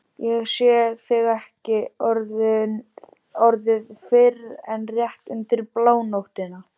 Ég sé þig ekki orðið fyrr en rétt undir blánóttina.